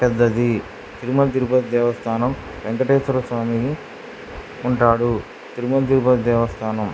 పెద్దది తిరుమల తిరుపతి దేవస్థానం వెంకటేశ్వర స్వామి ఉంటాడు. తిరుముల తిరుపతి దేవస్థానం --